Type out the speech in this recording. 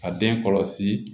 A den kɔlɔsi